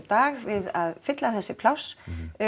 dag við að fylla þessi pláss